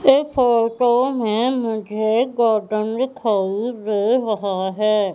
इस फोटो में मुझे गौतम दिखाई दे रहा है।